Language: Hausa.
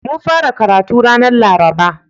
Mun fara karatu ranar Laraba.